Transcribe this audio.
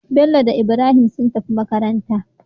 Bello da Ibrahim sun tafi makabarta